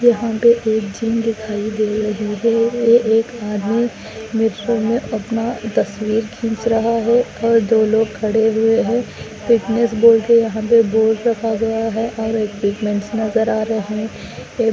एक जिम दिखाई दे रही है एक आदमी मिरर में अपना तस्वीर खींच रहा है और दो लोग खड़े हुए है फिटनेस बोर्ड --